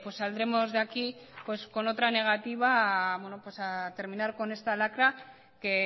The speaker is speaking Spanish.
saldremos de aquí con otra negativa a terminar con esta lacra que